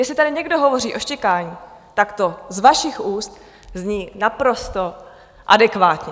Jestli tady někdo hovoří o štěkání, tak to z vašich úst zní naprosto adekvátně.